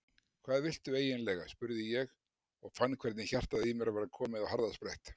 Hvað viltu eiginlega? spurði ég og fann hvernig hjartað í mér var komið á harðasprett.